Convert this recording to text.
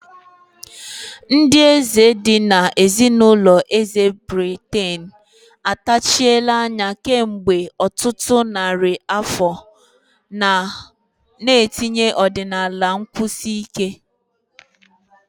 Ndị eze dị ka ezinụlọ eze Britain atachiela anya kemgbe ọtụtụ narị afọ, na-etinye ọdịnala na nkwụsi ike.